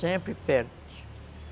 Sempre perde.